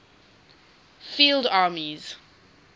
field armies